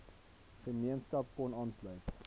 gemeenskap kon aanlsuit